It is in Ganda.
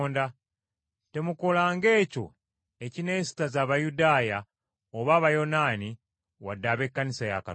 Temukolanga ekyo ekineesittaza Abayudaaya oba Abayonaani wadde ab’ekkanisa ya Katonda.